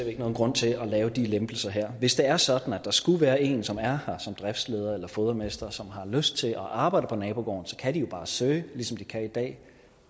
ikke nogen grund til at lave de lempelser her hvis det er sådan at der skulle være en som er her som driftsleder eller fodermester som har lyst til at arbejde på nabogården kan de jo bare søge ligesom de kan i dag